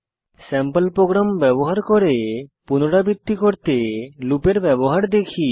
sample program ব্যবহার করে পুনরাবৃত্তি করতে লুপের ব্যবহার দেখি